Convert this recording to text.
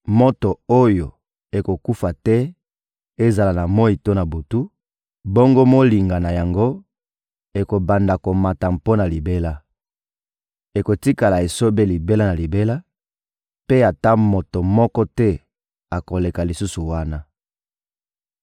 moto oyo ekokufa te ezala na moyi to na butu, bongo molinga na yango ekobanda komata mpo na libela. Ekotikala esobe libela na libela, mpe ata moto moko te akoleka lisusu wana.